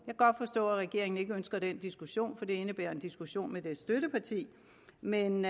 forstå at regeringen ikke ønsker den diskussion for det indebærer en diskussion med dens støtteparti men